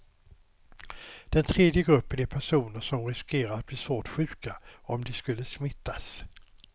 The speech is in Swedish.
Den tredje gruppen är personer som riskerar att bli svårt sjuka om de skulle smittas.